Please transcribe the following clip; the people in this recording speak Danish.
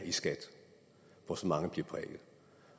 i skat hvor så mange bliver prikket